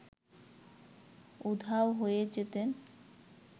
উধাও হয়ে যেতেন